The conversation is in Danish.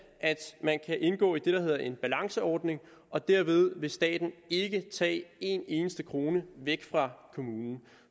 at man kan indgå i det der hedder en balanceordning og derved vil staten ikke tage én eneste krone væk fra kommunen